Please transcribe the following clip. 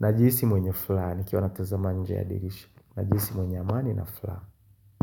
Najisi mwenye flani nikiwa natazama nje ya dirishi najisi mwenye amani na furaha.